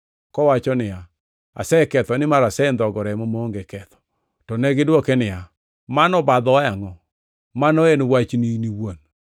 kowacho niya, “Aseketho, nimar asendhogo remo maonge ketho.” To negidwoke niya, “Mano obadhowa e angʼo? Mano en wachni iwuon.”